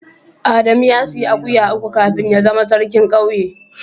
Adamu ya sayi akuya uku kafin ya zama sarkin kauye.